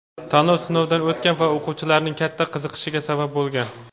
tanlov sinovdan o‘tgan va o‘quvchilarning katta qiziqishiga sabab bo‘lgan!.